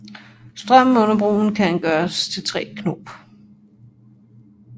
Strømmen under broen kan gøre 3 knop